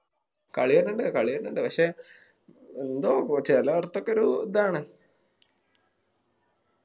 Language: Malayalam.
കളി വരണിണ്ട് കളി വരണിണ്ട് പക്ഷെ എന്തോ ചേലോടുത്തൊക്കെ ഒരു ഇതാണ്